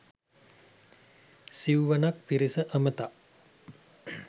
සිව්වනක් පිරිස අමතා